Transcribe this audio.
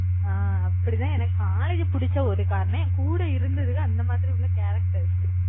அஹ் அப்படிதான் எனக்கு college பிடிச்ச ஒரு காரணம். என் கூட இருந்ததுக அந்த மாதிரி உள்ள ஒரு characters